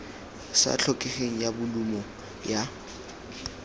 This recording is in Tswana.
sa tlhokegeng ya bolumo ya